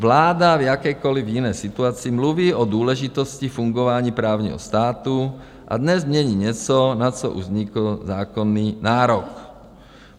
Vláda v jakékoliv jiné situaci mluví o důležitosti fungování právního státu, a dnes mění něco, na co už vznikl zákonný nárok.